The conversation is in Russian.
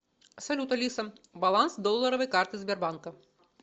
салют алиса баланс долларовой карты сбербанка